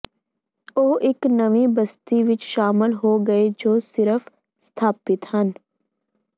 ਉਹ ਇੱਕ ਨਵੀਂ ਬਸਤੀ ਵਿੱਚ ਸ਼ਾਮਿਲ ਹੋ ਗਏ ਜੋ ਸਿਰਫ ਸਥਾਪਿਤ ਹਨ